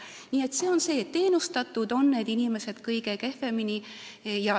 Nii et teenuseid saavad need inimesed kõige kehvemini.